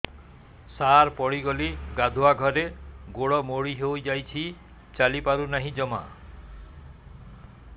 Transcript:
ସାର ପଡ଼ିଗଲି ଗାଧୁଆଘରେ ଗୋଡ ମୋଡି ହେଇଯାଇଛି ଚାଲିପାରୁ ନାହିଁ ଜମା